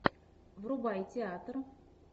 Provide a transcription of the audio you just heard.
врубай театр